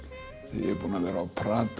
ég er búinn að vera á